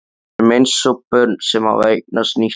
Við erum eins og börn sem hafa eignast nýtt leikfang.